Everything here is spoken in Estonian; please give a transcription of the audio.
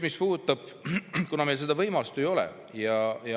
Meil seda võimalust ei ole.